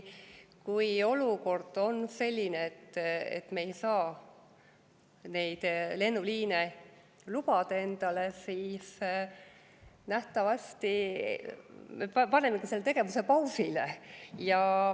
Kui olukord on selline, et me ei saa neid lennuliine endale lubada, siis nähtavasti peaksime panema selle tegevuse pausile.